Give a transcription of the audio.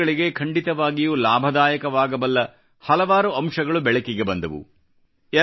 ವಿದ್ಯಾರ್ಥಿಗಳಿಗೆ ಖಂಡಿತವಾಗಿಯೂ ಲಾಭದಾಯಕವಾಗಬಲ್ಲ ಹಲವಾರು ಅಂಶಗಳು ಬೆಳಕಿಗೆ ಬಂದವು